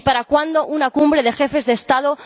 Y ¿para cuándo una Cumbre de Jefes de Estado